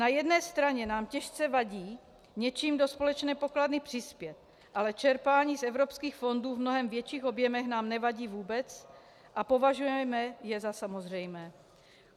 Na jedné straně nám těžce vadí něčím do společné pokladny přispět, ale čerpání z evropských fondů v mnohem větších objemech nám nevadí vůbec a považujeme je za samozřejmé.